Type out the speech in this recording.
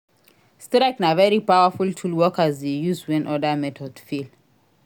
Strike na very powerful tool workers de use when other methods fail